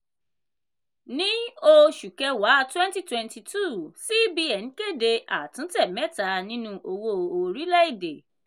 ní oṣù kẹwa twenty twenty two cbn kéde àtúntẹ̀ mẹ́tà nínú owó orílẹ̀-èdè.